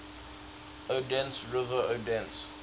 odense river odense